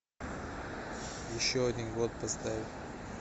еще один год поставь